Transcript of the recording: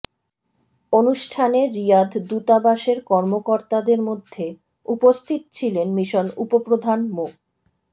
অনুষ্ঠানে রিয়াদ দূতাবাসের কর্মকর্তাদের মধ্যে উপস্থিত ছিলেন মিশন উপপ্রধান মো